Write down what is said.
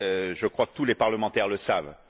Je crois que tous les parlementaires le savent.